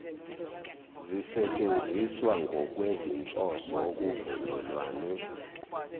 zisetshenziswa ngokwezinhloso okuvunyelwane